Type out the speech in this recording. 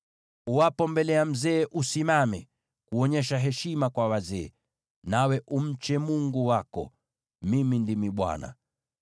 “ ‘Uwapo mbele ya mzee, simama ili kuonyesha heshima kwa wazee, nawe umche Mungu wako. Mimi ndimi Bwana .